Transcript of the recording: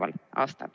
Aitäh!